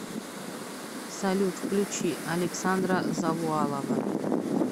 салют включи александра завуалова